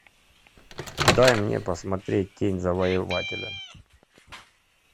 дай мне посмотреть тень завоевателя